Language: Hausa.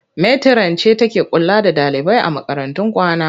Metiran ce take kula da ɗalibai a makarantun kwana.